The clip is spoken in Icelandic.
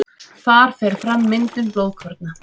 Þar fer fram myndun blóðkorna.